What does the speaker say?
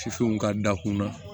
Fifinw ka da kunna